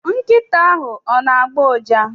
Nkịta ahụ ona-agbọ ụja?